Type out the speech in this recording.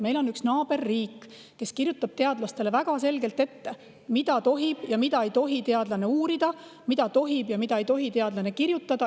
Meil on üks naaberriik, kes kirjutab teadlastele väga selgelt ette, mida tohib ja mida ei tohi teadlane uurida, mida tohib ja mida ei tohi teadlane kirjutada.